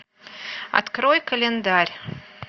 открой календарь